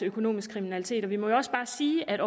økonomisk kriminalitet vi må jo også bare sige at